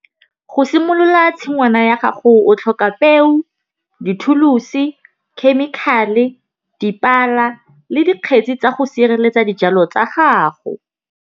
Go simolola tshingwana ya gago o tlhoka peo, dithulusi, chemical-e, dipala le dikgetsi tsa go sireletsa dijalo tsa gago.